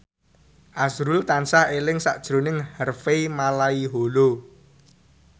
azrul tansah eling sakjroning Harvey Malaiholo